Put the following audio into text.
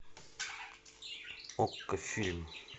окко фильм